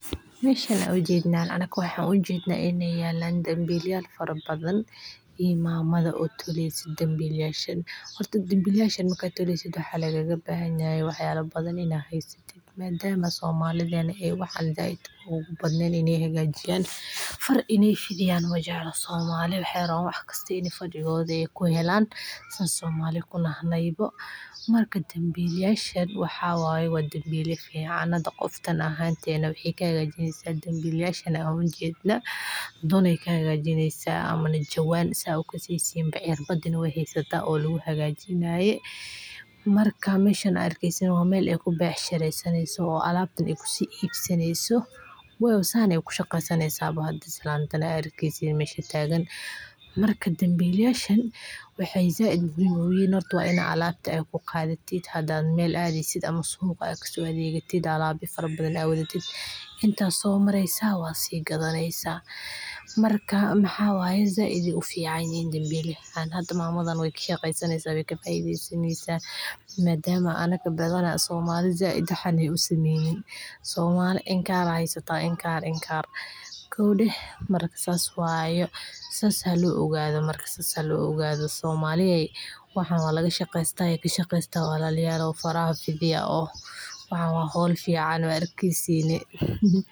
Waa weel dhaqameed oo laga sameeyo xidhmooyin la isku xidhay oo inta badan laga sameeyo geedka malabka, geedka baalmadowga, ama xidhmooyin kale oo dabiici ah, waxaana ay u adeegtaa qofka Soomaaliyeed si ay ugu xidhaan waxyaabaha ay qaataan sida dharkooda, cuntadooda, iyo qalabkooda, gaar ahaan marka ay safraan ama wax ay ka qaybqaataan dhaqamo iyo xaflado kala duwan, sida aroosyo, ciidamo, iyo dhacdooyin bulsho, waxayna muujinayaan farshaxanka iyo hunta Soomaalida, waana qayb muhiim ah oo ka mid ah dhaqanka iyo horumarka haweenka Soomaaliyeed oo ay ku maamushaan fursado dhaqaale iyo ganacsi, sidaas darteed kiondu wuxuu noqon karaa sumad iyo astaan.